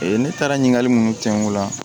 Ee ne taara ɲininkali mun kɛ n kun la